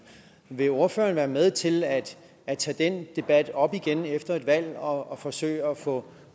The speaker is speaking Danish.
vil ordføreren være med til at at tage den debat op igen efter et valg og forsøge at få